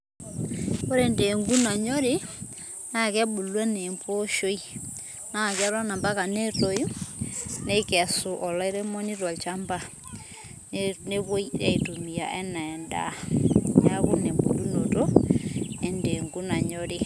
ore ndengu nanyori ,na kebulu ena emposhoi, na keton ampaka netoyu neikesu olairemoni tolchamba, nepuoi aitumia ena endaa, niaku ina embulunoto endengu nanyorii.